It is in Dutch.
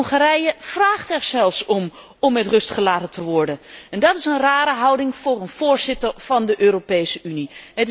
Hongarije vraagt er zelfs om om met rust gelaten te worden. Dat is een rare houding voor een voorzitter van de Europese Unie.